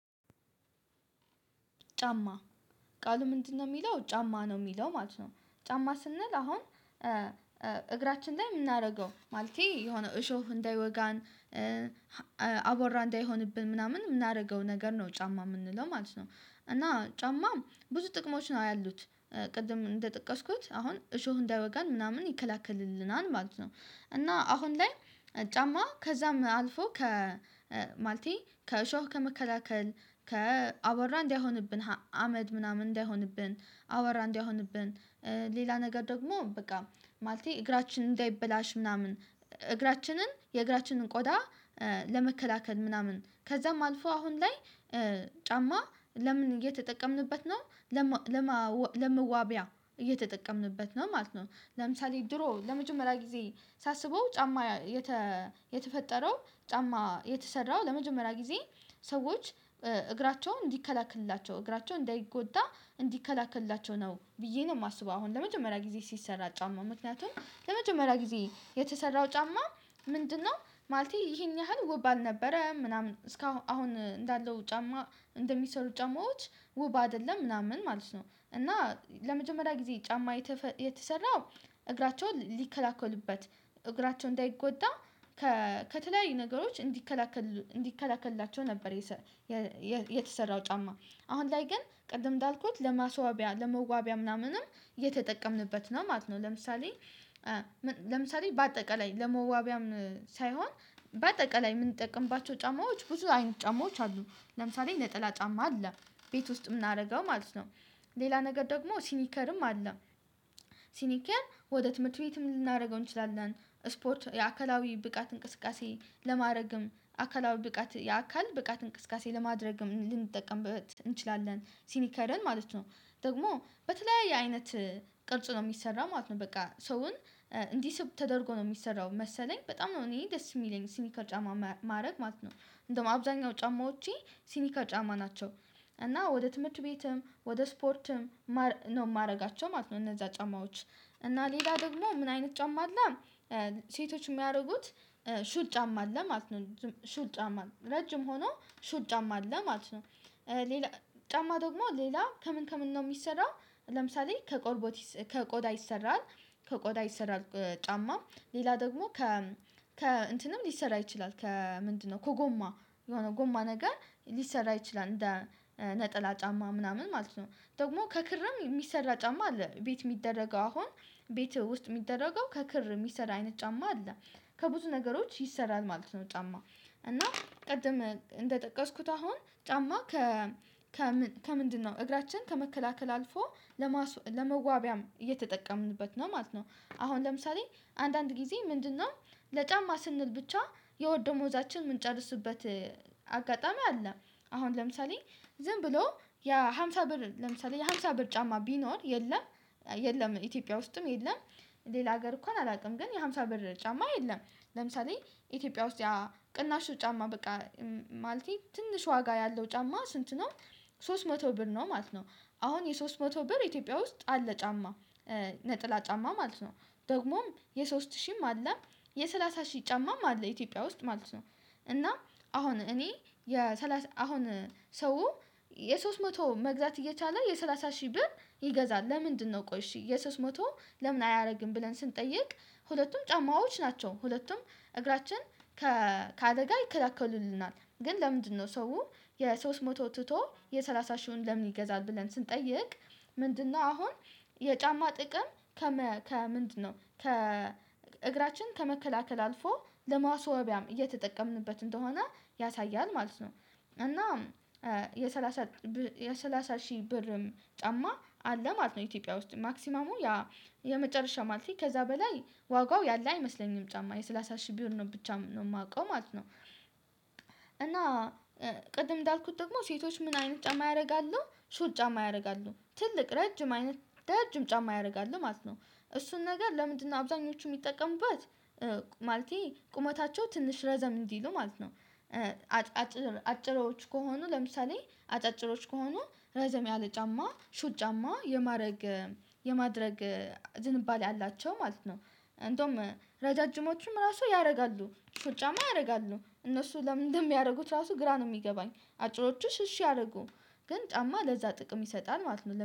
ጫማ ቃሉ ምንድነው? የሚለው ጫማ ነው የሚለው ማለት ነው። ጫማ ስንል አሁን እግራችን ላይ የምናደርገው ማለቴ የሆነ እሾህ እንዳይወጋን። አባራ እንዳይሆንብን ምናምን የምናደርገው ነገር ነው ጫማ የምንለው ማለት ነው። እና ጫማ ብዙ ጥቅሞች ነው ያሉት። ቅድም እንደጠቀስኩት አሁን እሾህ እንዳወጋን ምናምን ይከላከልልናል ማለት ነው። እና አሁን ላይ ጫማ ከዛም አልፎ ከማልቴ ከእሾህ ከመከላከል ከአወራ እንዳይሆንብን አመድ ምናምን እንዳይሆንብን አወራ እንዳይሆንብን። ሌላ ነገር ደግሞ በቃ ማለቴ እግራችን እንዳይበላሽ ምናምን እግራችንን የእግራችንን ቆዳ። ለመከላከል ምናምን ከዛም አልፎ አሁን ላይ ጫማ ለምን እየተጠቀምንበት ነው? ለማወ ለመዋቢያ እየተጠቀምንበት ነው ማለት ነው። ለምሳሌ ድሮ ለመጀመሪያ ጊዜ ሳስበው ጫማ የተ የተፈጠረው ጫማ የተሰራው ለመጀመሪያ ጊዜ ሰዎች እግራቸውን እንዲከላክልላቸው እግራቸውን እንዳይጎዳ እንዲከላክልላቸው ነው ብዬ ነው የማስበው። አሁን ለመጀመሪያ ጊዜ ሲሰራ ጫማ ምክንያቱም ለመጀመሪያ ጊዜ የተሰራው ጫማ ምንድነው? ማለቴ ይሄን ያህል ውብ አልነበረም ምናምን እስካሁን አሁን እንዳለው ጫማ እንደሚሰሩ ጫማዎች ውብ አይደለም ምናምን ማለት ነው። እና ለመጀመሪያ ጊዜ ጫማ የተሰራው እግራቸውን ሊከላከልበት እግራቸው እንዳይጎዳ ከ ከተለያዩ ነገሮች እንዲከላከል እንዲከላከልላቸው ነበር። የተሰራው ጫማ አሁን ላይ ግን ቅድም እንዳልኩት ለማስዋቢያ ለመዋቢያ ምናምንም የተጠቀምንበት ነው ማለት ነው። ለምሳሌ ለምሳሌ በአጠቃላይ ለመዋቢያም ሳይሆን በአጠቃላይ የምንጠቀምባቸው ጫማዎች ብዙ አይነት ጫማዎች አሉ። ለምሳሌ ነጠላ ጫማ አለ። ቤት ውስጥ የምናደርገው ማለት ነው ሌላ ነገር ደግሞ ሲኒከርም አለ። ሲኒከር ወደ ትምህርት ቤትም ልናደርገው እንችላለን ስፖርት የአካላዊ ብቃት እንቅስቃሴ ለማድረግም አካላዊ ብቃት የአካል ብቃት እንቅስቃሴ ለማድረግም ልንጠቀምበት እንችላለን ሲኒከርን ማለት ነው። ደግሞ በተለያየ አይነት ቅርጽ ነው የሚሰራው ማለት ነው በቃ ሰውን እንዲህ ስብ ተደርጎ ነው የሚሰራው መሰለኝ በጣም ነው እኔ ደስ የሚለኝ ሲኒካል ጫማ ማድረግ ማለት ነው። እንደውም አብዛኛው ጫማዎቼ ሲኒር ጫማ ናቸው። እና ወደ ትምህርት ቤትም ወደ ስፖርትም ነው የማደርጋቸው ማለት ነው። እነዛ ጫማዎች እና ሌላ ደግሞ ምን አይነት ጫማ አለ። ሴቶች የሚያደርጉት ሹል ጫማ አለ ማለት ነው ሹል ጫማ ረጅም ሆኖ ሹል ጫማ አለ ማለት ነው። ሌላ ጫማ ደግሞ ሌላ ከምን ከምን ነው የሚሰራው? ለምሳሌ ከጨቆርበት ከቆዳ ይሰራል ከቆዳ ይሰራል። ጫማ ሌላ ደግሞ ከ ከ እንትንም ሊሰራ ይችላል ከ ምንድነው? ከጎማ የሆነ ጎማ ነገር ሊሰራ ይችላል እንደ ነጠላ ጫማ ምናምን ማለት ነው። ደግሞ ከክርም የሚሰራ ጫማ አለ ቤት የሚደረገው አሁን ቤት ውስጥ የሚደረገው ከክር የሚሰራ አይነት ጫማ አለ። ከብዙ ነገሮች ይሰራል ማለት ነው። ጫማ እና ቀድም እንደጠቀስኩት አሁን ጫማ ከምን ከምንድነው እግራችን ከመከላከል አልፎ ለመዋቢያም እየተጠቀምንበት ነው ማለት ነው። አሁን ለምሳሌ አንዳንድ ጊዜ ምንድነው? ለጫማ ስንል ብቻ የወር ደምዛችን የምንጨርሱበት አጋጣሚ አለ። አሁን ለምሳሌ ዝም ብሎ ያ ሃምሳ ብር ለምሳሌ ያ ሃምሳ ብር ጫማ ቢኖር የለም የለም ኢትዮጵያ ውስጥም የለም። ሌላ ሀገር እንኳን አላውቅም ግን የሃምሳ ብር ጫማ የለም። ለምሳሌ ኢትዮጵያ ውስጥ ያ ቅናሹ ጫማ በቃ ማለቴ ትንሽ ዋጋ ያለው ጫማ ስንት ነው? ሶስት መቶ ብር ነው ማለት ነው። አሁን የሶስት መቶ ብር ኢትዮጵያ ውስጥ አለ ጫማ ነጥላ ጫማ ማለት ነው። ደግሞም የሶስት ሺህም አለም የሰላሳ ሺህ ጫማም አለ ኢትዮጵያ ውስጥ ማለት ነው። እና አሁን እኔ የሰላሳ አሁን ሰው የሶስት መቶ መግዛት እየቻለ የሰላሳ ሺህ ብር ይገዛል ለምንድነው? ቆይሺ የሶስት መቶ ለምን አያደርግም ብለን ስንጠይቅ። ሁለቱም ጫማዎች ናቸው። ሁለቱም እግራችን ከአደጋ ይከላከሉልናል ግን ለምንድነው ሰው የሶስት መቶ ትቶ የሰላሳ ሺሁን ለምን ይገዛል ብለን ስንጠይቅ። ምንድነው? አሁን የጫማ ጥቅም ከመ ከምንድነው ከእግራችን ከመከላከል አልፎ ለማስወቢያም እየተጠቀምንበት እንደሆነ ያሳያል ማለት ነው። እና የሳላሳ የሰላሳ ሺህ ብር ጫማ አለ ማለት ነው ኢትዮጵያ ውስጥ ማክሲማሙ የመጨረሻ ማለቴ ከዛ በላይ ዋጋው ያለ አይመስለኝም ጫማ የሰላሳ ሺህ ብር ነው ብቻ ነው የማውቀው ማለት ነው። እና ቅድም እንዳልኩት ደግሞ ሴቶች ምን አይነት ጫማ ያደርጋሉ ሹል ጫማ ያደርጋሉ ትልቅ ረጅም አይነት ረጅም ጫማ ያደርጋሉ ማለት ነው እሱን ነገር ለምንድነው አብዛኞቹ የሚጠቀሙበት? ማለቴ ቁመታቸው ትንሽ ረዘም እንዲሉ ማለት ነው። ኣጭር አጭሮች ከሆኑ ለምሳሌ አጫጭሮች ከሆኑ ረዘም ያለ ጫማ ሹል ጫማ የማድረግ የማድረግ ዝንባሌ ያላቸው ማለት ነው። እንዶም ረዣዥሞቹም ራሱ ያደርጋሉ ሹል ጫማ ያደርጋሉ እነሱ ለምንድነው የሚያደርጉት? ራሱ ግራ ነው የሚገባኝ። አጭሮቹ እሺ አያደርጉ ግን ጫማ ለዛ ጥቅም ይሰጣል ማለት ነው